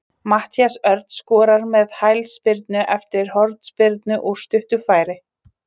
Matthías Örn skorar með hælspyrnu eftir hornspyrnu úr stuttu færi.